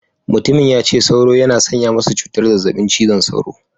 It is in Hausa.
Mutumin ya ce sauro yana sanya masa cutar zazzabin cizon sauro.